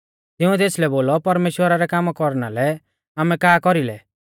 तिंउऐ तेसलै बोलौ परमेश्‍वरा रै कामा कौरना लै आमै का कौरी लै